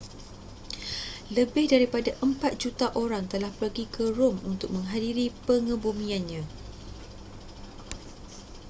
lebih daripada empat juta orang telah pergi ke rom untuk menghadiri pengebumiannya